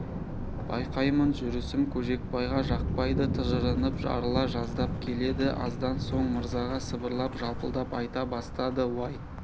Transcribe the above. байқаймын жүрісім көжекбайға жақпайды тыжырынып жарыла жаздап келеді аздан соң мырзаға сыбырлап жалпылдап айта бастады уай